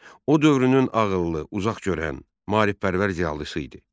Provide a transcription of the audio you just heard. O dövrünün ağıllı, uzaqgörən, maarifpərvər ziyalısı idi.